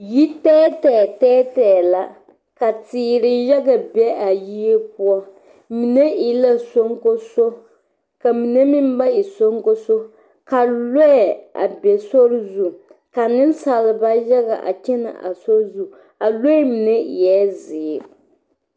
Yi tɛɛtɛɛ tɛɛtɛɛ tɛɛtɛɛ tɛɛtɛɛ la ka teere yaga be a yie poɔ mine e la soŋkoso ka mine meŋ ba e soŋkoso ka lɔɛ a be sori zu ka nensaalba yaga a kyɛnɛ a sori zu a lɔɛ mine eɛ zeere